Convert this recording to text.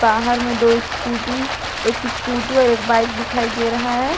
बाहर में दो स्कूटी एक स्कूटी और एक बाइक दिखाई दे रहा है।